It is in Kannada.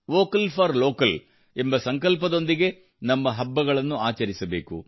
ವೋಕಲ್ ಫಾರ್ ಲೋಕಲ್ ಎಂಬ ಸಂಕಲ್ಪದೊಂದಿಗೆ ನಮ್ಮ ಹಬ್ಬಗಳನ್ನು ಆಚರಿಸಬೇಕು